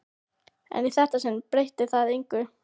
En í þetta sinn breytir það engu.